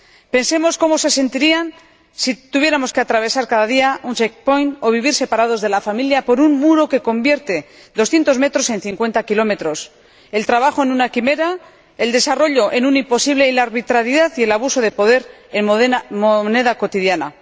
Pensemos cómo se sentirían si tuviéramos que atravesar cada día un check point o vivir separados de la familia por un muro que convierte doscientos metros en cincuenta kilómetros, el trabajo en una quimera, el desarrollo en un imposible y la arbitrariedad y el abuso de poder en moneda cotidiana.